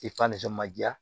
ma ja